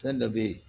Fɛn dɔ be ye